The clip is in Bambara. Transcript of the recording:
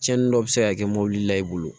Cɛnnin dɔ bi se ka kɛ mɔbili la i bolo